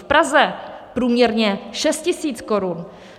V Praze průměrně šest tisíc korun.